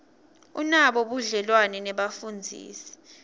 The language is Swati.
unabo budlelwane nebafundzisi